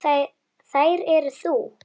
Ertu að fara norður?